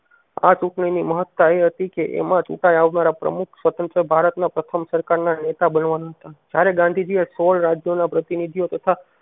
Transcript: આ ચૂંટણી ની મહતતા એ હતી કે એમાં ચૂંટાઈ આવનારા પ્રમુખ સ્વતંત્ર ભારત ના પ્રથમ સરકાર ના નેતા બળવાન હતા. જયારે ગાંધીજી સોળ રાજ્યો ના પ્રતિ નિધિઓ તથા